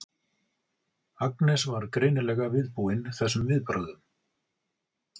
Agnes var greinilega viðbúin þessum viðbrögðum.